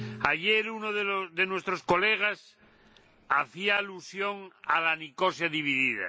Ayer, uno de nuestros colegas hacía alusión a la Nicosia dividida.